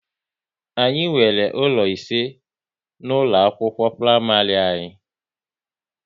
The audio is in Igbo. Anyị nwere ụlọ ise na ụlọ akwụkwọ praịmarị anyị